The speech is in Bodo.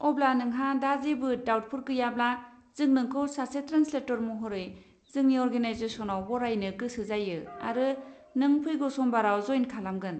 अब्ला, नोंहा दा जेबो डाउटफोर गैयाब्ला, जों नोंखौ सासे ट्रान्सलेट'र महरै जोंनि अरगेनाइजेस'नआव बरायनो गोसो जायो आरो नों फैगौ समबाराव जइन खालामगोन।